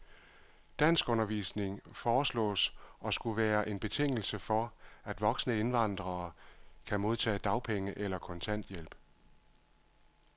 Danskundervisning foreslås at skulle være en betingelse for, at voksne indvandrere kan modtage dagpenge eller kontanthjælp.